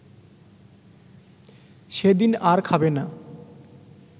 সেদিন আর খাবে না